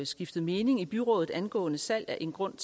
skiftet mening i byrådet angående salg af en grund